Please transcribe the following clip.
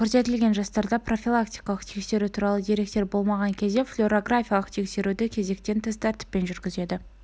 көрсетілген жастарда профилактикалық тексеру туралы деректер болмаған кезде флюорографиялық тексеруді кезектен тыс тәртіппен жүргізеді